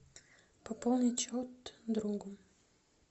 пополнить счет другу